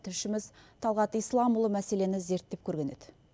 тілшіміз талғат исламұлы мәселені зерттеп көрген еді